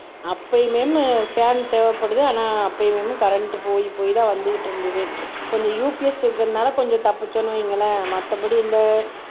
அப்பயுமே ஃபேன் தேவைப்படுது ஆனா அப்பயுமே கரண்ட் போய் போய்தான் வந்துக்கிட்டிருந்தது கொஞ்சம் UPS இருக்கிறதுனால கொஞ்சம் தப்பிச்சோம்னு வையுங்களேன் மத்தபடி இந்த